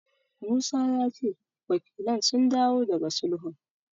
Musa ya ce wakilan sun dawo daga sulhun.